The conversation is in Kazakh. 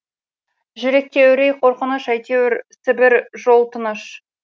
жүректе үрей қорқыныш әйтеуір сібір жол тыныш